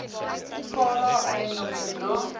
fala eiendom sodra